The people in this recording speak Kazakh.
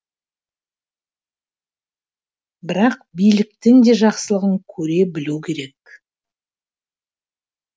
бірақ биліктің де жақсылығын көре білу керек